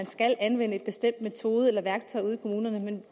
skal anvende en bestemt metode eller værktøj ude i kommunerne men